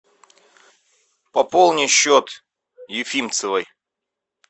пополни счет ефимцевой